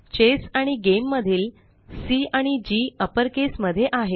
chess आणि game मधील C आणि जी अपरकेस मध्ये आहेत